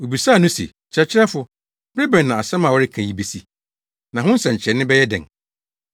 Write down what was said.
Wobisaa no se, “Kyerɛkyerɛfo, bere bɛn na asɛm a woreka yi besi, na ho nsɛnkyerɛnne bɛyɛ dɛn?”